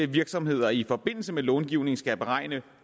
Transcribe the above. virksomheder i forbindelse med långivning skal beregne